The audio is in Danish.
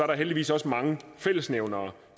der heldigvis også mange fællesnævnere